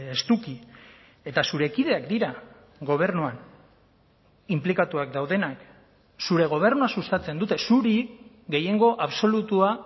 estuki eta zure kideak dira gobernuan inplikatuak daudenak zure gobernua sustatzen dute zuri gehiengo absolutua